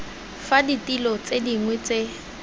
fa ditilo tse dingwe tse